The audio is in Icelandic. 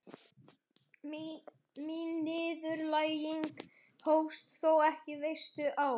Mín niðurlæging hófst þó ekki vestur á